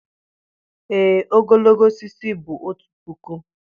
ee ogologo osisi bụ otu puku